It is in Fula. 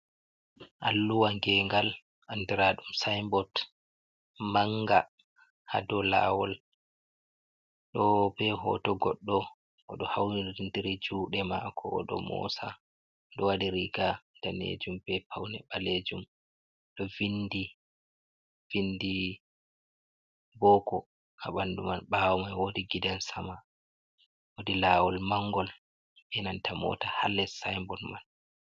Alluwa gengal andiradum sinbod manga ha do lawol do be hoto goddo odo haunidiri jude mako odo mosa do wadi riga danejum be paune balejum do vindi boko a ɓandu man ɓawo mai wodi gidan sama wodi lawol mangol enanta mota hales simbod man.